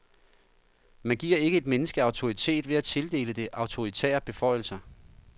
Man giver ikke et menneske autoritet ved at tildele det autoritære beføjelser.